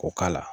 K'o k'a la